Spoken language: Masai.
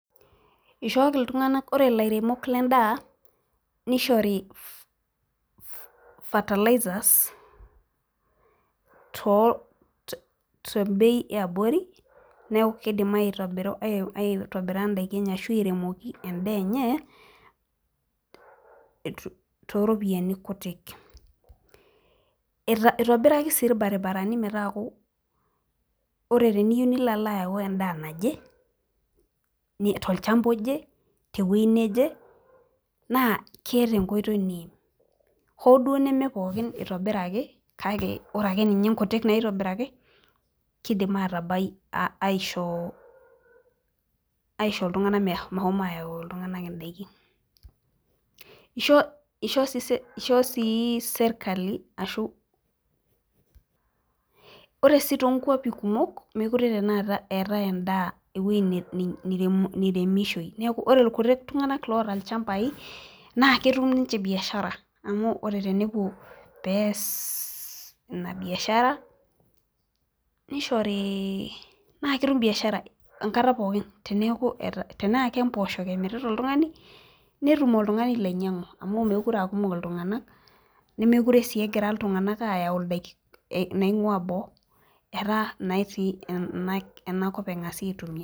ore ilairemok ledaa nishori fertilizers ,tebei eyabori, neeku kidim aitobiru ashu airemoki idakin enye too iropiyiani kutik, ilo ala ayau edaa naje tolchamba oje naa ketaa enkoitoi naimi hoo duo nemepooki itobiraki kake ore sii inkutik naitobiraki aisho iltunganak meshomo ayau idaikin, ishoo serkali ashu ore ore sii too inkwapi kumok etae eweji niremishoi ore ikutik tunganak oota ilchambai naa ketum niche iropiyiani, amu ore tenepuo pee ees ina biashara nemekire sii egira iltunganak natii iboo etaa enakop epuonu aitumiya.